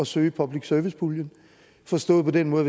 søge af public service puljen forstået på den måde